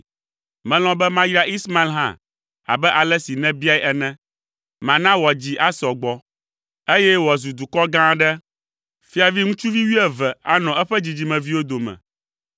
Melɔ̃ be mayra Ismael hã abe ale si nèbiae ene. Mana wòadzi asɔ gbɔ, eye wòazu dukɔ gã aɖe. Fiavi ŋutsuvi wuieve anɔ eƒe dzidzimeviwo dome.